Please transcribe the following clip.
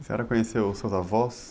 A senhora conheceu os seus avós?